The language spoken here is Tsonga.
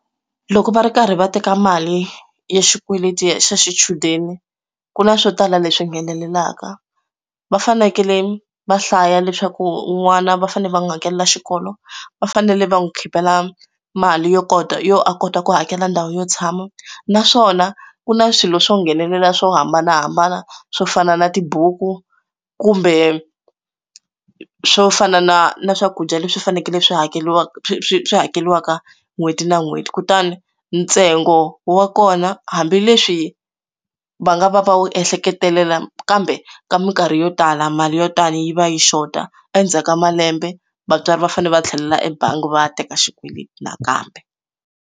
Loko va ri karhi va teka mali ya xikweleti xa xichudeni ku na swo tala leswi nghenelelaka, va fanekele va hlaya leswaku n'wana va fanele va n'wi hakelela xikolo va fanele va n'wi khipela mali yo kota yo a kota ku hakela ndhawu yo tshama naswona ku na swilo swo nghenelela swo hambanahambana swo fana na tibuku kumbe swo fana na na swakudya leswi fanekele swi hakeriwaka swi hakeriwaka n'hweti na n'hweti kutani ntsengo wa kona hambileswi va nga va va wu ehleketelela kambe ka minkarhi yo tala mali yo tani yi va yi xota endzhaku ka malembe vatswari va fanele va tlhelela ebangi va ya teka xikweleti nakambe.